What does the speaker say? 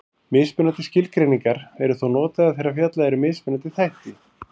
Mismunandi skilgreiningar eru þó notaðar þegar fjallað er um mismunandi þætti.